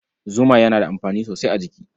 Zuma yana da amfani sosai a jiki.